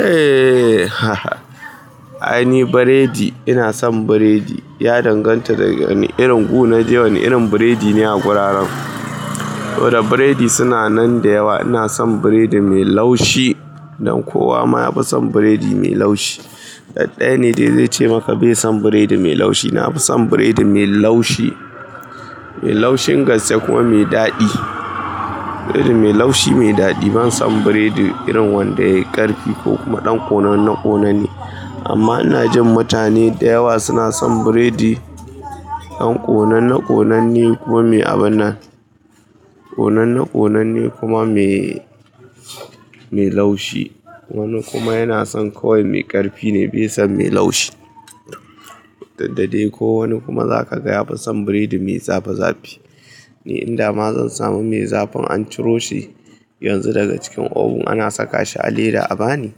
Eh haha. Ai ni biredi, ina son biredi. Ya danganta da wane irin wuri na je, wane irin biredi ne a wuraren. Saboda biredi suna nan da yawa. Ina son biredi mai laushi dan kowa ma yafi son biredi mai laushi. Ɗaɗɗaya ne da zai ce maka bai son biredi mai laushi. Na fi son biredi mai laushi, mai laushin gaske kuma mai daɗi. Biredi mai laushi mai daɗi. Ban son biredi irin wanda ya yi ƙarfi ko kuma wanda ya dan kone amma ina jin mutane da yawa suna son biredi ɗan ƙonanne ƙonanne kuma mai abannan. Ƙonanne ƙonanne kuma mai, mai laushi. Wani kuma yana son kawai mai ƙarfine baison mai laushi. Diddade ko wani kuma zakaga yafi son biredi mai zafi zafi. Ni indama zan samu mai zafin an ciroshi yanzu daga cikin oven ana sakashi a leda a bani.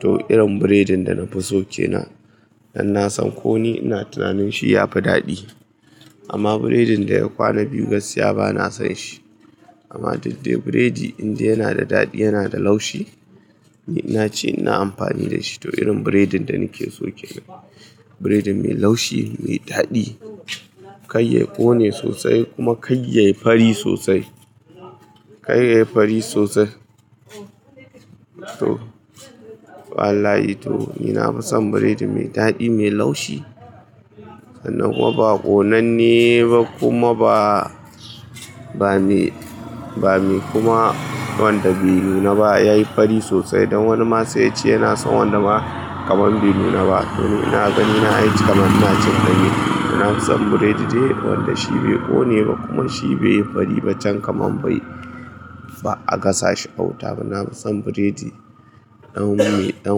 To irin biredin dana fiso kenan, dan nasan koni ina tunanin shiyafi daɗi. Amma biredin daya kwana biyu gaskiya bana sonshi. Amma didde biredi indai yanada daɗi yanada laushi, ni nace ina amfani dashi. To irin biredin da nikeso kenan. Biredi mai laushi, mai daɗi. Kaiya ƙone sosai kuma kai yayi fari sosai. Kai ya yi fari sosai. To wallahi to nina fison biredi mai daɗi mai laushi. Sannan kuma ba ƙonanne ba kuma ba, bame, bame kuma wanda bai nunaba. Yayi fari sosai don wanima sai yace yana son wanda ma kaman bai nuna ba. Toni ina ganina ai kaman inacin danye. Ina fison biredi dai wanda shibai ƙoneba kuma shibai yi fariba can kaman bai, ba'a gasashi a wuta ba. Nafison biredi ɗan mai, ɗan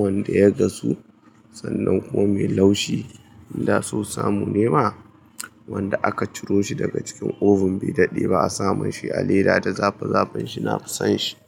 wanda ya gasu sannan kuma mai laushi. Inda so samu nema wanda aka ciro shi daga cikin oven bai daɗe ba a samunshi a leda da zafi zafinshi. Na fi son shi.